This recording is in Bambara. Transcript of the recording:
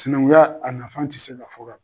Sinankuya ,a nafa tɛ se ka fɔ ka ban.